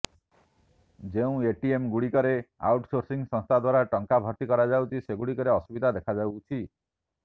ଯେଉଁ ଏଟିଏମ୍ଗୁଡ଼ିକରେ ଆଉଟ୍ସୋର୍ସିଂ ସଂସ୍ଥା ଦ୍ବାରା ଟଙ୍କା ଭର୍ତି କରାଯାଉଛି ସେଗୁଡ଼ିକରେ ଅସୁବିଧା ଦେଖାଦେଉଛି